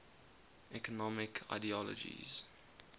economic ideologies